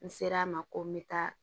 N ser'a ma ko n bɛ taa